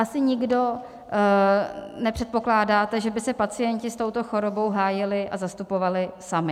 Asi nikdo nepředpokládáte, že by se pacienti s touto chorobou hájili a zastupovali sami.